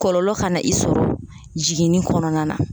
Kɔlɔlɔ kana i sɔrɔ jiginni kɔnɔna na